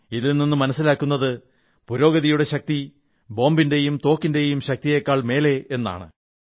ഇതിൽനിന്ന് മനസ്സിലാകുന്നത് പുരോഗതിയുടെ ശക്തി ബോംബിന്റേയും തോക്കിന്റേയും ശക്തിയേക്കാൾ മേലെ എന്നാണ്